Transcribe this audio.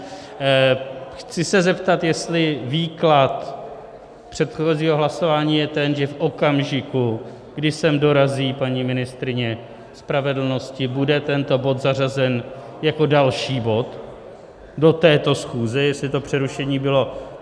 Chci se zeptat, jestli výklad předchozího hlasování je ten, že v okamžiku, kdy sem dorazí paní ministryně spravedlnosti, bude tento bod zařazen jako další bod do této schůze, jestli to přerušení bylo.